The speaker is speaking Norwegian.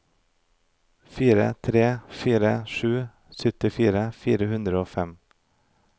fire tre fire sju syttifire fire hundre og fem